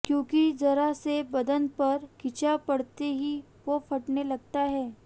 क्योंकि जरा से बदन पर खिंचाव पड़ते ही वो फटने लगता है